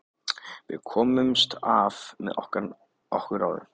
Við komumst af með okkar ráðum.